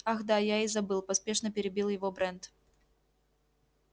ах да я и забыл поспешно перебил его брент